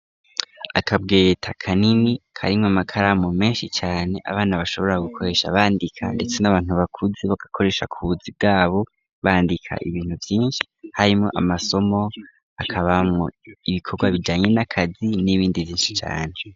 Akabwereta kanini karimwa amakaramu menshi cane abana bashobora gukoresha bandika, ndetse n'abantu bakuzi bagakoresha kubuzi bwabo bandika ibintu vyinshi harimo amasomo akabamwo ibikorwa bijanye n'akazi n'ibindi zinshi cane.